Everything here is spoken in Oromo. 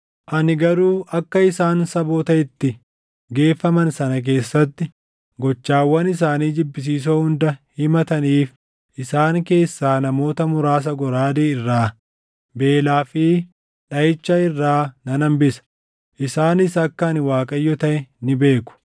Ani garuu akka isaan saboota itti geeffaman sana keessatti gochawwan isaanii jibbisiisoo hunda himataniif isaan keessaa namoota muraasa goraadee irraa, beelaa fi dhaʼicha irraa nan hambisa. Isaanis akka ani Waaqayyo taʼe ni beeku.”